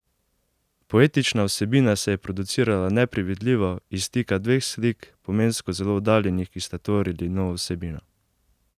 Poetična vsebina se je producirala nepredvidljivo, iz stika dveh slik, pomensko zelo oddaljenih, ki sta tvorili novo vsebino.